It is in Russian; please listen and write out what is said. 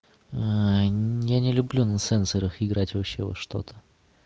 я не люблю на сенсорах играть вообще во что-то